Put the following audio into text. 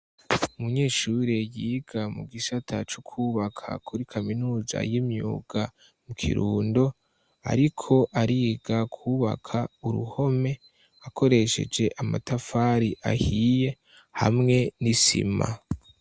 Umunyeshuri yiga mu gisata c'ukwubaka muri kaminuza y'imyuga mu kirundo. Ariko ariga kwubaka uruhome akoresheje amatafari ahiye hamwe n'isima.